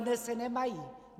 Dodnes je nemají!